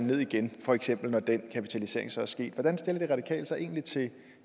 ned igen for eksempel når den kapitalisering så er sket hvordan stiller de radikale sig egentlig til